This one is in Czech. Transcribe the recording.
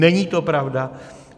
Není to pravda.